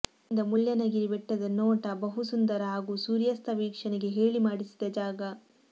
ಇಲ್ಲಿಂದ ಮುಳ್ಳಯ್ಯನಗಿರಿ ಬೆಟ್ಟದ ನೋಟ ಬಹು ಸುಂದರ ಹಾಗು ಸೂರ್ಯಾಸ್ಥ ವೀಕ್ಷಣೆಗೆ ಹೇಳಿ ಮಾಡಿಸಿದ ಜಾಗ